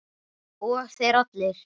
Og þeir allir!